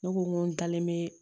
Ne ko n ko n dalen be